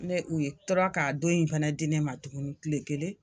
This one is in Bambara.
Ne u ye tɔɔrɔ ka don in fɛnɛ di ne ma tuguni tile kelen